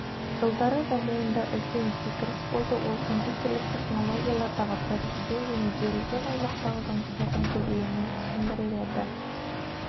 жылдары дамуында үлкен секіріс болды ол компьютерлік технологиялардағы прогресспен және берілген аймақтағы жұмыстардың көбеюімен түсіндіріледі